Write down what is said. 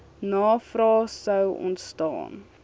navrae sou ontstaan